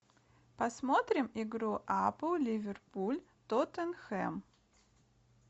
посмотрим игру апл ливерпуль тоттенхэм